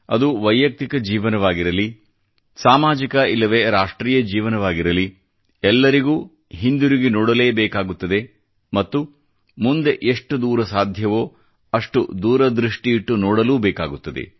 ಅದು ವೈಯಕ್ತಿಕ ಜೀವನವಾಗಿರಲಿ ಸಾಮಾಜಿಕ ಇಲ್ಲವೆ ರಾಷ್ಟ್ರೀಯ ಜೀವನವಾಗಿರಲಿ ಎಲ್ಲರಿಗೂ ಹಿಂದಿರುಗಿ ನೋಡಲೇಬೇಕಾಗುತ್ತದೆ ಮತ್ತು ಮುಂದೆ ಎಷ್ಟು ದೂರ ಸಾಧ್ಯವೋ ಅಷ್ಟು ದೂರದೃಷ್ಟಿಯಿಟ್ಟು ನೋಡಲೂ ಬೇಕಾಗುತ್ತದೆ